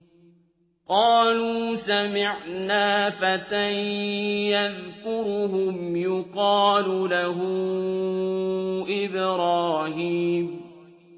قَالُوا سَمِعْنَا فَتًى يَذْكُرُهُمْ يُقَالُ لَهُ إِبْرَاهِيمُ